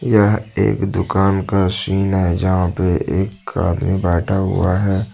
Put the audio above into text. यह एक दुकान का सीन है जहां पे एक आदमी बैठा हुआ है।